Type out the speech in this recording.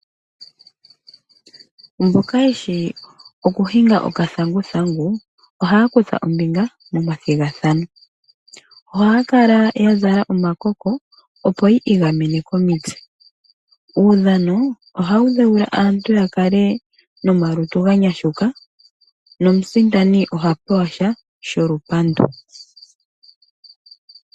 Mboka yeshi okuhinga okathanguthangu ohaya kutha ombinga momathigathano. Ohaya kala yazala omakoko opo yiigamene komitse. Uundhano ohawu dhewula aantu yakale nomalutu ganyashuka, nomusindani ohapewasha sholupandu.